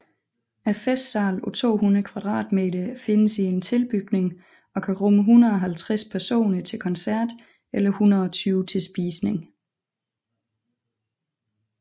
Festsalen på 200 m² findes i en tilbygning og kan rumme 150 personer til koncert eller 120 til spisning